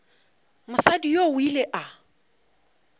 mosadi yoo o ile a